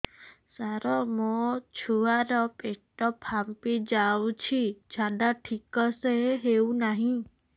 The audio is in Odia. ସାର ମୋ ଛୁଆ ର ପେଟ ଫାମ୍ପି ଯାଉଛି ଝାଡା ଠିକ ସେ ହେଉନାହିଁ